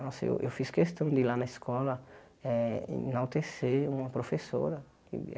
Nossa, eu eu fiz questão de ir lá na escola eh enaltecer uma professora.